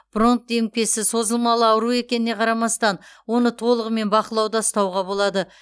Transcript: бронх демікпесі созылмалы ауру екеніне қарамастан оны толығымен бақылауда ұстауға болады